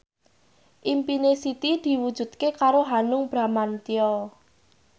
impine Siti diwujudke karo Hanung Bramantyo